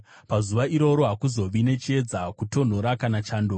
Pazuva iroro hakuzovi nechiedza, kutonhora kana chando.